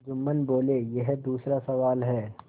जुम्मन बोलेयह दूसरा सवाल है